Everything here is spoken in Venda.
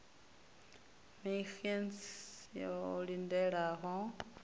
maxenn e o lindelaho u